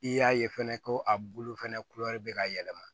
I y'a ye fɛnɛ ko a bulu fɛnɛ be ka yɛlɛma